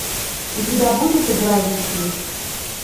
у тебя будет игра рипли